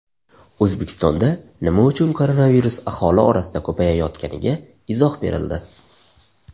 O‘zbekistonda nima uchun koronavirus aholi orasida ko‘payayotganiga izoh berildi.